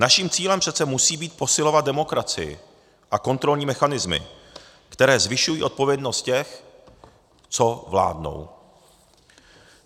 Naším cílem přece musí být posilovat demokracii a kontrolní mechanismy, které zvyšují odpovědnost těch, co vládnou.